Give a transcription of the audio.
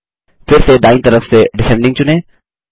फिर से दायीं तरफ से डिसेंडिंग चुनें